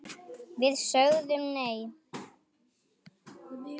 Við sögðum nei!